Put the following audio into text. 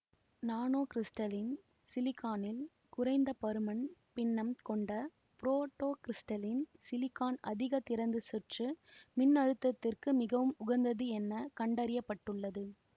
நானோகிரிஸ்டலின் சிலிக்கானின் குறைந்த பருமன் பின்னம் கொண்ட புரோட்டோகிரிஸ்டலின் சிலிக்கான் அதிக திறந்த சுற்று மின்னழுத்தத்திற்கு மிகவும் உகந்தது என கண்டறிய பட்டுள்ளது